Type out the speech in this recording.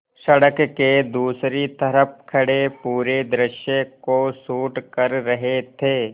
सड़क के दूसरी तरफ़ खड़े पूरे दृश्य को शूट कर रहे थे